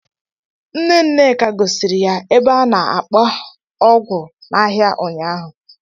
Nne Nneka gosiri ya ebe a na-akpa okpu n'ahịa ụnyahụ.